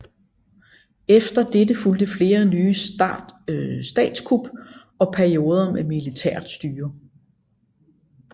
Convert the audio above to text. Efter dette fulgte flere nye statskup og perioder med militært styre